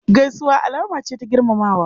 Gaisuwa alama ce ta girmamawa.